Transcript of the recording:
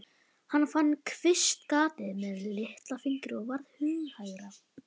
Hann fann kvistgatið með litlafingri og varð hughægra.